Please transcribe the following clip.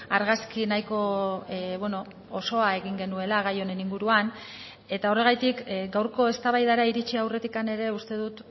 argazki nahiko osoa egin genuela gai honen inguruan eta horregatik gaurko eztabaidara iritsi aurretik ere uste dut